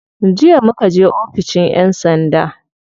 Jiya muka je oficin yan sanda.